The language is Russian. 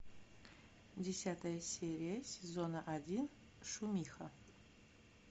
десятая серия сезона один шумиха